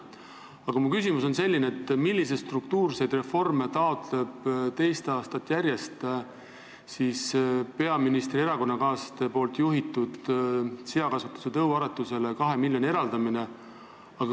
Aga minu küsimus on selline: millist struktuurset reformi peab silmas peaministri erakonnakaaslaste juhitud seakasvandusele tõuaretuseks kahe miljoni euro eraldamine teist aastat järjest?